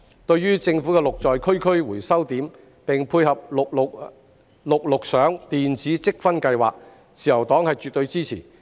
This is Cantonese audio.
對於政府的"綠在區區"回收點，並配合"綠綠賞"電子積分計劃，自由黨絕對支持。